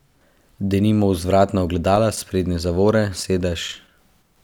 Denimo vzvratna ogledala, sprednje zavore, sedež ...